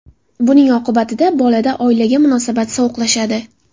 Buning oqibatida bolada oilaga munosabat sovuqlashadi.